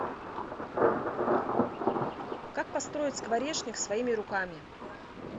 как построить скворечник своими руками